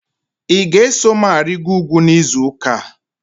Ị ga-eso m arịgoro ugwu n'izu ụka a?